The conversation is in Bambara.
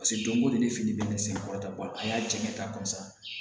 Paseke don ko don ne ni fini bɛ ne sɛgɛn kɔrɔ ka taa a y'a cɛ ka kɔn